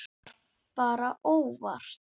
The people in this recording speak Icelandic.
Þetta var bara óvart.